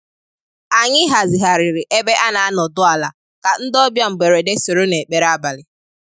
Anyị hazigharịrị ebe ana-anọdụ ala ka ndị ọbịa mgberede soro n'ekpere abalị.